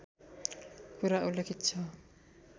कुरा उल्लेखित छ